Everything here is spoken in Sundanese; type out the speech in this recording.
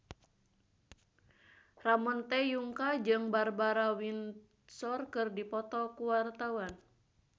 Ramon T. Yungka jeung Barbara Windsor keur dipoto ku wartawan